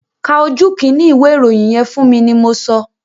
Ka ojú kínní ìwé ìròyìn yẹn fún mi ni mo sọ!